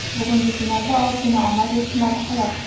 Bugungi finalda ozgina omad yetishmadi xolos.